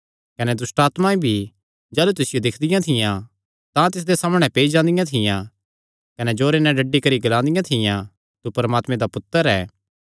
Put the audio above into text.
कने दुष्टआत्मां भी जाह़लू तिसियो दिक्खदियां थियां तां तिसदे सामणै पेई जादियां थियां कने जोरे नैं डड्डी करी ग्लादियां थियां तू परमात्मे दा पुत्तर ऐ